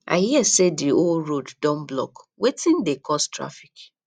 i hear say the whole road don blockwetin dey cause traffic